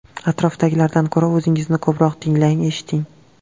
Atrofdagilardan ko‘ra o‘zingizni ko‘proq tinglang, eshiting.